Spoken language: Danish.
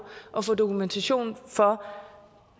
at få dokumentation for